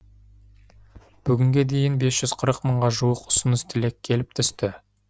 бүгінге дейін бес жүз қырық мыңға жуық ұсыныс тілек келіп түсті